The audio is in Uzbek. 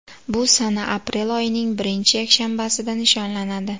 Bu sana aprel oyining birinchi yakshanbasida nishonlanadi.